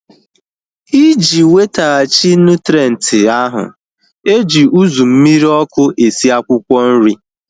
Iji wetaghachi nụtrenti ahu, eji uzu mmiri ọkụ esi akwụkwọ nri